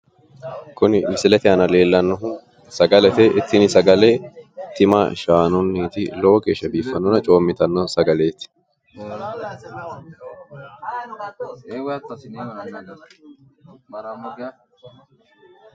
Kuni misilete aana leellannohu sagalete, tini sagale tima shaanunniti, lowo geeshsha biiffanonna coommitanno sagaleti